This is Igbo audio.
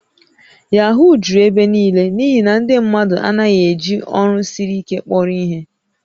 Yahoo juru ebe niile n'ihi na ndị mmadụ anaghị eji ọrụ siri ike kpọrọ ihe